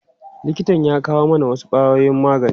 Likitan ya kawo mana wasu ƙwayoyin magani.